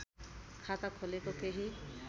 खाता खोलेको केही